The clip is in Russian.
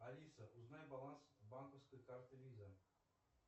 алиса узнай баланс банковской карты виза